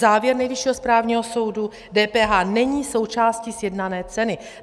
Závěr Nejvyššího správního soudu: DPH není součástí sjednané ceny.